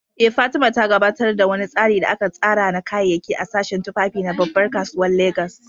Eh, Fatima, ta gabatar da wani tsari da aka tsara na kayayyaki a sashen tufafi na babbar kasuwar Legas.